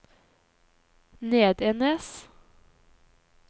Nedenes